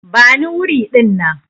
Bani wuri dinnan!